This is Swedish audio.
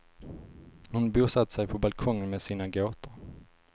Hon bosatte sig på balkongen med sina gåtor.